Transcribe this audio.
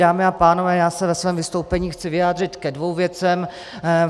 Dámy a pánové, já se ve svém vystoupení chci vyjádřit ke dvěma věcem.